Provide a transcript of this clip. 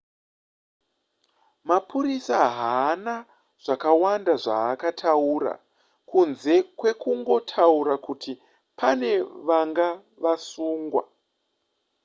mapurisa haana zvakawanda zvaakataura kunze kwekungotaura kuti pane vanga vasungwa